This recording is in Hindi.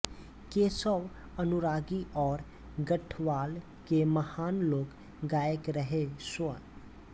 केशव अनुरागी और गढ़वाल के महान लोक गायक रहे स्व